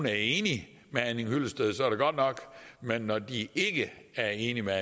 er enige med herre henning hyllested er det godt nok men når de ikke er enige med